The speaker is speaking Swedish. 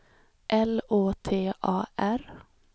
L Å T A R